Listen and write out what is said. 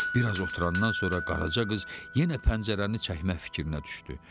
Bir az oturandan sonra Qaraca qız yenə pəncərəni çəkmək fikrinə düşdü.